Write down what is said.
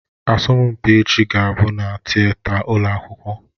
Asọmpi echi ga-abụ na Tịeta ụlọ akwụkwọ